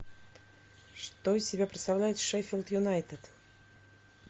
что из себя представляет шеффилд юнайтед